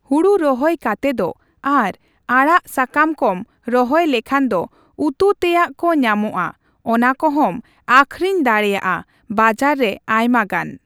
ᱦᱩᱲᱩ ᱨᱚᱦᱚᱭ ᱠᱟᱛᱮ ᱫᱚ ᱟᱨ ᱟᱲᱟᱜ ᱥᱟᱠᱟᱢ ᱠᱚᱢ ᱨᱚᱦᱚᱭ ᱞᱮᱠᱷᱟᱱ ᱫᱚ ᱩᱛᱩ ᱛᱮᱭᱟᱜ ᱠᱚ ᱧᱟᱢᱚᱜᱼᱟ ᱚᱱᱟ ᱠᱚᱦᱚᱸᱢ ᱟᱹᱠᱷᱨᱤᱧ ᱫᱟᱲᱮᱭᱟᱜᱼᱟ ᱵᱟᱡᱟᱨ ᱨᱮ ᱟᱭᱢᱟᱜᱟᱱ᱾